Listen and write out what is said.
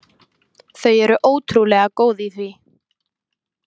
Þau eru ótrúlega góð í því.